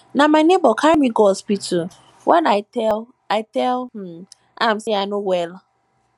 na my nebor carry me go hospital wen i tell i tell um am sey i no well